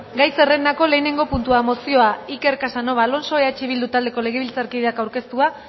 gai zerrendako lehenengo puntua mozioa iker casanova alonso eh bildu taldeko legebiltzarkideak aurkeztua